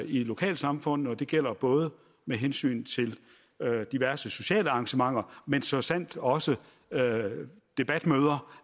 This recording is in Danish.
i lokalsamfundene det gælder både med hensyn til diverse sociale arrangementer men så sandelig også debatmøder